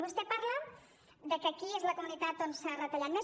vostè parla de que aquí és la comunitat on s’ha retallat més